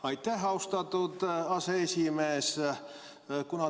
Aitäh, austatud aseesimees!